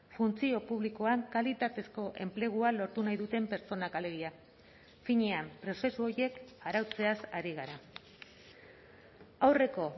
funtzio publikoan kalitatezko enplegua lortu nahi duten pertsonak alegia finean prozesu horiek arautzeaz ari gara aurreko